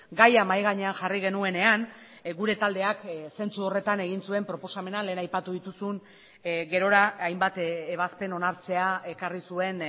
gaia mahai gainean jarri genuenean gure taldeak zentzu horretan egin zuen proposamena lehen aipatu dituzun gerora hainbat ebazpen onartzea ekarri zuen